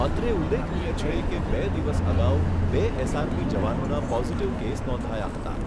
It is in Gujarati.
અત્રે ઉલ્લેખનીય છે કે બે દિવસ અગાઉ બે એસઆરપી જવાનોના પોઝીટીવ કેસ નોંધાયા હતા.